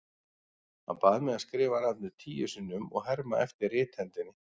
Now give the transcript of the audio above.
Hann bað mig að skrifa nafnið tíu sinnum og herma eftir rithendinni.